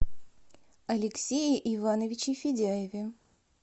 алексее ивановиче федяеве